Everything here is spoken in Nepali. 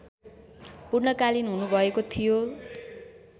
पूर्णकालिन हुनुभएको थियो